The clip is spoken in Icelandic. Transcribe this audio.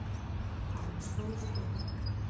Það er stór spurning